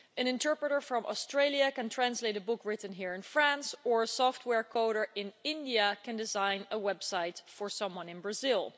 An interpreter from Australia can translate a book written here in France or a software coder in India can design a website for someone in Brazil.